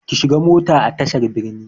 Ki shiga mota a tashar birni!